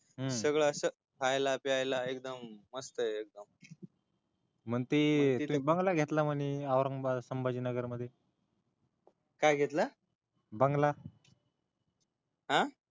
सगळ अस खायला प्यायला सगळ मस्त एकदम मग तु तिथ बँगलो घेतला म्हणे औरंगाबाद मध्ये काय घेतल बँगलो आ